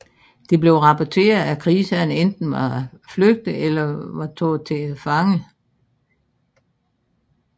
Det blev rapporteret at krigsherrerne enten var flygtet eller var taget til fange